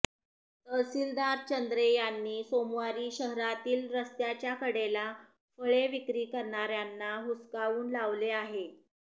तहसीलदार चंद्रे यांनी सोमवारी शहरातील रस्त्याच्या कडेला फळे विक्री करणाऱ्यांना हुसकावून लावले आहे